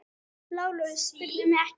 LÁRUS: Spyrðu mig ekki!